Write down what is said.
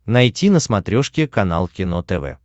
найти на смотрешке канал кино тв